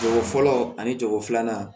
Cogo fɔlɔ ani jago filanan